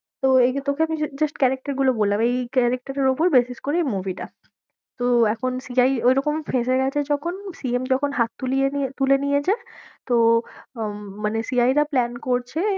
হম তো এই যে আমি তোকে just character গুলো বললাম এই character এর ওপর basis করে এই movie টা তো এখন CI ঐরকম ফেঁসে গেছে যখন CM যখন হাত তুলে নিয়েছে, তো আহ মানে CI রা plan করছে।